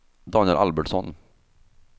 Daniel Albertsson